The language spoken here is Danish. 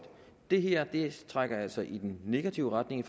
det her trækker altså i den negative retning